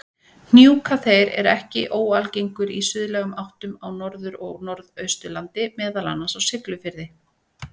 Hnjúkaþeyr er ekki óalgengur í suðlægum áttum á Norður- og Norðausturlandi, meðal annars á Siglufirði.